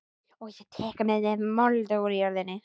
Og ég tek með mér mold úr jörðinni.